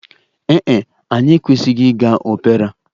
Ee e, anyị ekwesịghị ịga opera.